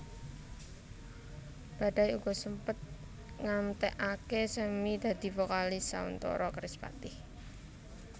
Badai uga sempet ngantèkaké Sammy dadi vokalis sauntara Kerispatih